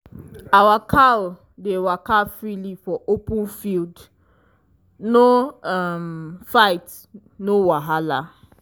our cow dey waka freely for open field no um fight no wahala.